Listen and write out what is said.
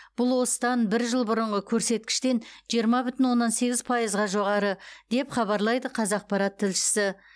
бұл осыдан бір жыл бұрынғы көрсеткіштен жиырма бүтін оннан сегіз пайызға жоғары деп хабарлайды қазақпарат тілшісі